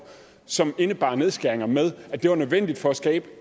som indebar nedskæringer med at det var nødvendigt for at skabe